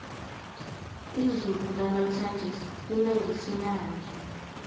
izulu lanamhlanje lina ngesinanja